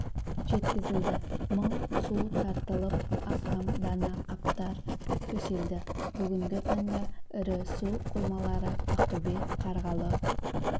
жеткізілді мың су тартылып астам дана қаптар төселді бүгінгі таңда ірі су қоймалары ақтөбе қарғалы